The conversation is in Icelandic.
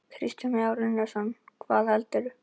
Kristján Már Unnarsson: Hvað veldur?